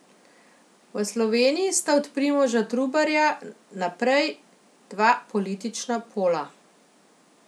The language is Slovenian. V Sloveniji sta od Primoža Trubarja naprej dva politična pola.